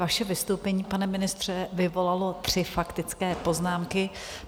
Vaše vystoupení, pane ministře, vyvolalo tři faktické poznámky.